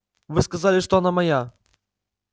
вы сказали что она моя